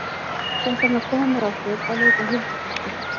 Svo ætlar hann að koma með okkur að leita að huldufólki.